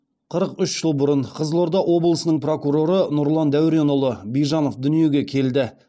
қырық үш жыл бұрын қызылорда облысының прокуроры нұрлан дәуренұлы бижанов дүниеге келді